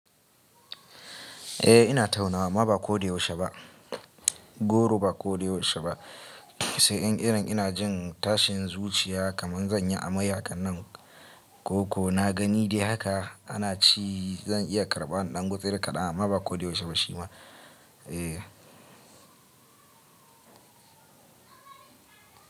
Eh ina taunawa amma ba ko dai yaushe ba. Goro ba ko da yaushe ba. Sai yan irin ina jin tashin zuciya kaman zan yi amai hakan nan ko ko na gani dai haka ana ci zan iya karɓa in ɗan gutsuri kaɗan amma ba ko dai yaushe ba shi ma. Eh.